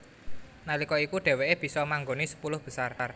Nalika iku dheweké bisa manggoni sepuluh besar